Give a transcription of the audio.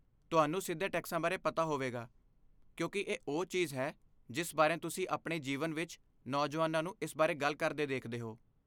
ਤੁਹਾਨੂੰ ਸਿੱਧੇ ਟੈਕਸਾਂ ਬਾਰੇ ਪਤਾ ਹੋਵੇਗਾ ਕਿਉਂਕਿ ਇਹ ਉਹ ਚੀਜ਼ ਹੈ ਜਿਸ ਬਾਰੇ ਤੁਸੀਂ ਆਪਣੇ ਜੀਵਨ ਵਿੱਚ ਨੌਜਵਾਨਾਂ ਨੂੰ ਇਸ ਬਾਰੇ ਗੱਲ ਕਰਦੇ ਦੇਖਦੇ ਹੋ।